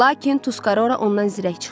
Lakin Tuskora ondan zirək çıxdı.